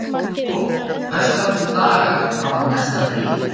Húgó, hversu margir dagar fram að næsta fríi?